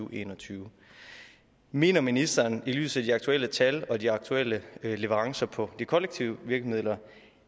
og en og tyve mener ministeren i lyset af de aktuelle tal og de aktuelle leverancer på de kollektive virkemidler